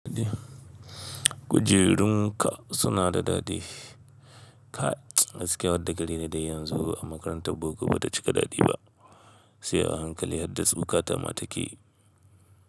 Kujerunka suna da daɗi. Kai gaskiya degree dau yanzu a makarantar boko ba ta cika daɗi ba, sai a hankali har dasu bukata ma take.